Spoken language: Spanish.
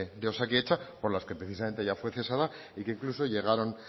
de osakidetza por las que precisamente ella fue cesada y que incluso llegaron